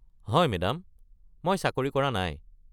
হয় মেদাম। মই চাকৰি কৰা নাই।